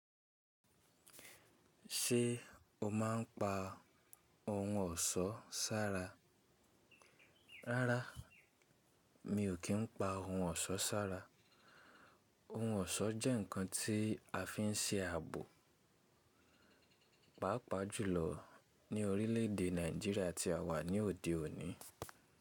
Ṣé o máa ń pa ohun ọ̀ṣọ́ sára? Rárá mi ò kí ń pa ohun ọ̀ṣọ́ sára. Ohun ọ̀ṣọ́ jẹ́ nǹkan tí a fi ń ṣe ààbò, pàápàá jùlọ ní orílẹ̀ èdè Nàìjíríà tí a wà ní òde òní.